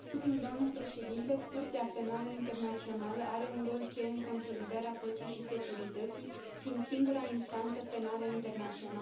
Curtea Penală Internațională are un rol cheie în consolidarea păcii și securității, fiind singura instanță penală internațională permanentă.